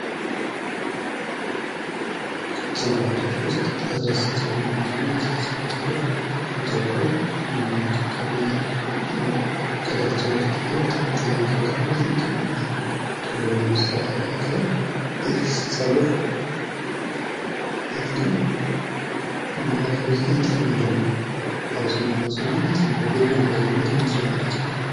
ከጸጉር አይነቶች ውስጥ ለስላሳ ጸጉር አንደኛው ነው። ይህም ለስላሳ ጸጉር እንደሚታዎቀው እንክብካቤ ከሌሎች ጸጉሮች የተለየ በጣም እንክብካቤ ይጠይቃል። እና ቶሎ ለመሰራት ያገለግላል። ይህ ጸጉር በየትኛው የማህበርሰብ ውስጥ የተለመደ ነው? ባአብዛኛው ማህበረሰብ የተለመደ ነው። በየትኛው የማህበርሰብ የተለመደ ነው?